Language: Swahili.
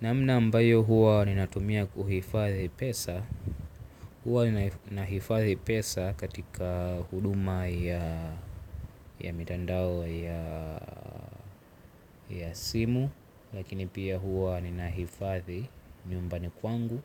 Namna ambayo huwa ninatumia kuhifadhi pesa huwa ni nahifadhi pesa katika huduma ya mitandao ya simu. Lakini pia huwa ninahifadhi nyumbani kwangu.